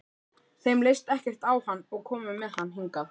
Þeim leist ekkert á hann og komu með hann hingað.